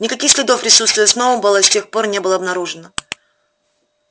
никаких следов присутствия сноуболла с тех пор не было обнаружено